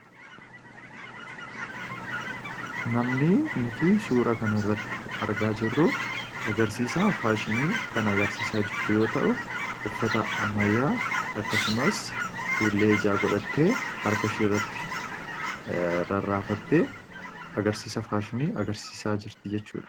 namni nuti suura kan irratti argaa jirruu agarsiisa faashinii kan agarsiisaa jirtuu yoo ta'u uffata ammayyaa akkasumas fuullee ijaa godhatte arkashiiirratti rarraafatte agarsiisa faashinii agarsiisaa jirtii jechuudha